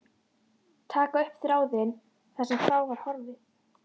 Taka upp þráðinn, þar sem frá var horfið.